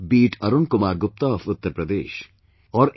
Be it Arun Kumar Gupta of Uttar Pradesh or N